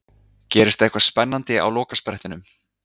Gerist eitthvað spennandi á lokasprettinum?